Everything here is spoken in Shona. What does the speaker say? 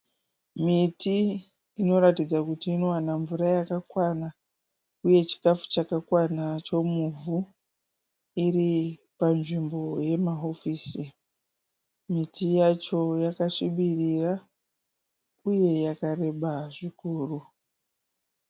Miti inoratidza kuti inowana mvura yakakwana uye chikafu chakakwana chomuvhu iri panzvimbo yemahofisi. Miti yacho yakasvibirira uye yakareba zvikuru.